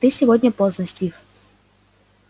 ты сегодня поздно стив